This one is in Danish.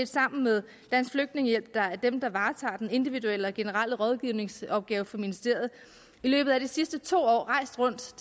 sammen med dansk flygtningehjælp der er dem der varetager den individuelle og generelle rådgivningsopgave for ministeriet i løbet af de sidste to år